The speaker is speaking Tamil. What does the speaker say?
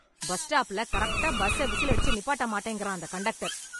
பஸ் ஸ்டாப்ல கரெக்டா பஸ்ச விசில் அடிச்சு நிப்பாட்ட மாட்டேங்குறான் அந்தக் கண்டக்டர்.